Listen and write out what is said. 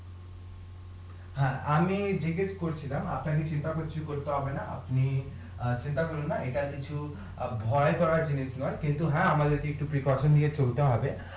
হ্যাঁ, আমি জিজ্ঞাসা করছিলাম আপনাদের চিন্তা করতে হবে না আপনি অ্যাঁ চিন্তা করবেন না এটা কিছু অ্যাঁ ভয় ভয় কিন্তু হ্যাঁ আমাদের কে একটু নিয়ে চলতে হবে